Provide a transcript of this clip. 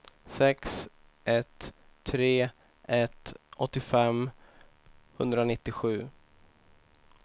sex ett tre ett åttiofem etthundranittiosju